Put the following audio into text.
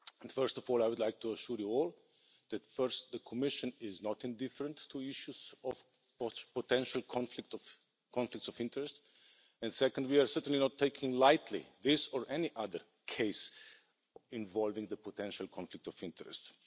First of all, I would like to assure you all that, first, the Commission is not indifferent to issues of potential conflicts of interest, and, second, we are certainly not taking lightly this, or any other, case involving a potential conflict of interests.